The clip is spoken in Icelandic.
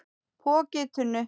Poki í tunnu